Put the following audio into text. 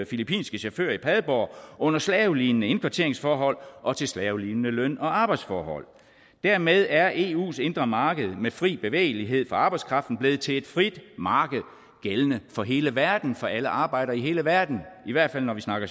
filippinske chauffører i padborg under slavelignende indkvarteringsforhold og til slavelignende løn og arbejdsforhold dermed er eus indre marked med fri bevægelighed for arbejdskraften blevet til et frit marked gældende for hele verden for alle arbejdere i hele verden i hvert fald når vi snakker